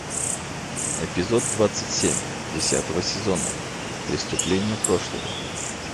эпизод двадцать семь десятого сезона преступление прошлого